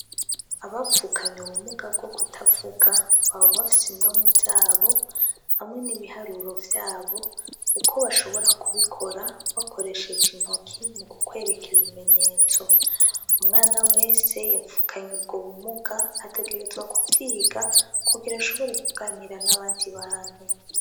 Abavukanye ubumuga bwo kutavuga baba bafise indome zabo hamwe n'ibiharuro vyabo, uko bashobora kubikora bakoresheje intoki, mukwerekana ibimenyotso, umwana wese yavukanye ubumuga ategrezwa kuvyiga, kugirango ashobore kuganira n'abandi bantu.